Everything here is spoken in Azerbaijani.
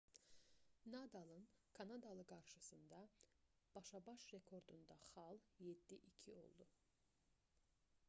nadalın kanadalı qarşısında başa-baş rekordunda xal 7:2 oldu